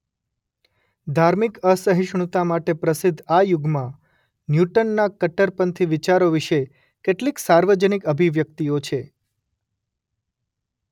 ધાર્મિક અસહિષ્ણુતા માટે પ્રસિદ્ધ આ યુગમાં ન્યૂટનના કટ્ટરપંથી વિચારો વિશે કેટલીક સાર્વજનિક અભિવ્યક્તિઓ છે.